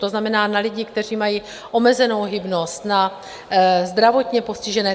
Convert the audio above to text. To znamená na lidi, kteří mají omezenou hybnost, na zdravotně postižené.